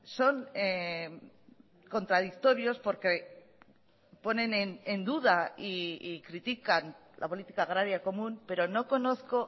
son contradictorios porque ponen en duda y critican la política agraria común pero no conozco